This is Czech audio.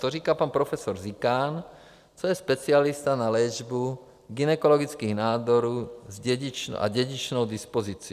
To říká pan profesor Zikán, to je specialista na léčbu gynekologických nádorů s dědičnou dispozicí.